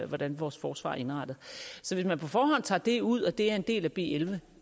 hvordan vores forsvar er indrettet så hvis man på forhånd tager det ud og det er en del af b elleve